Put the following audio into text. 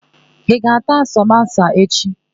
Ị ga-ata samosa echi?